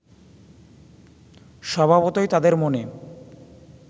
স্বভাবতই তাদের মনে